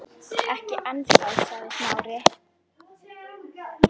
Ekki ennþá- sagði Smári.